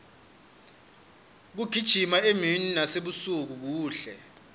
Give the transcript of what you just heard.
kugijima emini nasebusuku kuhle